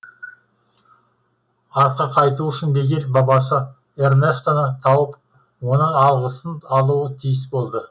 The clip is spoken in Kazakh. артқа қайту үшін мигель бабасы эрнестоны тауып оның алғысын алуы тиіс болды